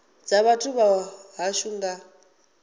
dza vhathu vha hashu nga